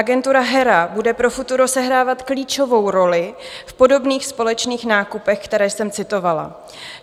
Agentura HERA bude pro futuro sehrávat klíčovou roli v podobných společných nákupech, které jsem citovala.